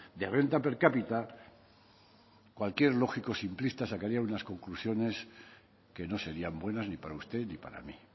de renta per cápita cualquier lógico simplista sacaría unas conclusiones que no serían buenas ni para usted ni para mí